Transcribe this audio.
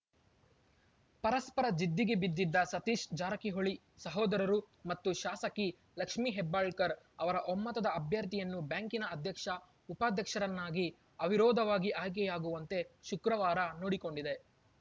ಪರಸ್ಪರ ಜಿದ್ದಿಗೆ ಬಿದ್ದಿದ್ದ ಸತೀಶ್‌ ಜಾರಕಿಹೊಳಿ ಸಹೋದರರು ಮತ್ತು ಶಾಸಕಿ ಲಕ್ಷ್ಮಿ ಹೆಬ್ಬಾಳ್ಕರ್‌ ಅವರ ಒಮ್ಮತದ ಅಭ್ಯರ್ಥಿಯನ್ನು ಬ್ಯಾಂಕಿನ ಅಧ್ಯಕ್ಷಉಪಾಧ್ಯಕ್ಷರನ್ನಾಗಿ ಅವಿರೋಧವಾಗಿ ಆಯ್ಕೆಯಾಗುವಂತೆ ಶುಕ್ರವಾರ ನೋಡಿಕೊಂಡಿದೆ